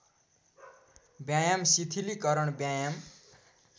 व्यायाम शिथिलीकरण व्यायाम